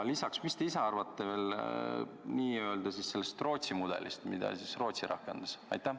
Mida te ise arvate Rootsi mudelist, mida Rootsi rakendas?